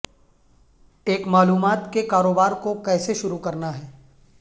ایک معلومات کے کاروبار کو کیسے شروع کرنا ہے